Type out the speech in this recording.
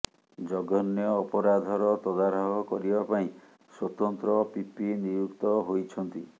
ଜଘନ୍ୟ ଅପରାଧର ତଦାରଖ କରିବା ପାଇଁ ସ୍ୱତନ୍ତ୍ର ପିପି ନିଯୁକ୍ତ ହୋଇଛନ୍ତି